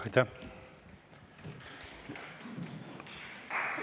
Aitäh!